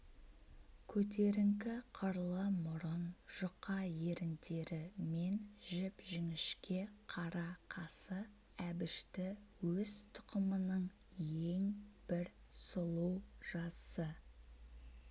көтеріңкі қырлы мұрын жұқа еріндері мен жіп-жіңішке қара қасы әбішті өз тұқымының ең бір сұлу жасы